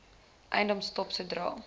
eiendom stop sodra